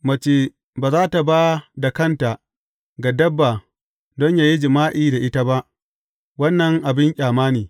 Mace ba za tă ba da kanta ga dabba don yă yi jima’i da ita ba; wannan abin ƙyama ne.